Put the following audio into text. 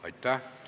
Aitäh!